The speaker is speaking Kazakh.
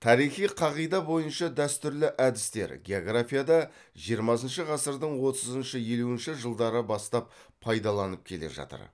тарихи қағида бойынша дәстүрлі әдістер географияда жиырмасыншы ғасырдың отызыншы елуінші жылдары бастап пайдаланып келе жатыр